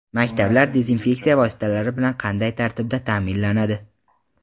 Maktablar dezinfeksiya vositalari bilan qanday tartibda ta’minlanadi?.